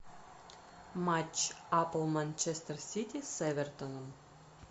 матч апл манчестер сити с эвертоном